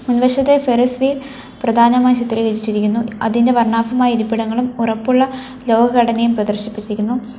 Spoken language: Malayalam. മുൻവശത്തായി ഫെറസ് വീൽ പ്രധാനമായി ചിത്രീകരിച്ചിരിക്കുന്നു അതിന്റെ വർണ്ണാഭമായ ഇരിപ്പിടങ്ങളും ഉറപ്പുള്ള ലോകഘടനയും പ്രദർശിപ്പിച്ചിരിക്കുന്നു.